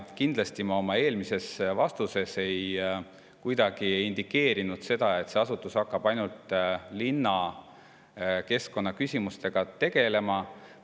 Ja kindlasti ma oma eelmises vastuses kuidagi ei indikeerinud seda, et see asutus hakkab ainult linnakeskkonna küsimustega tegelema.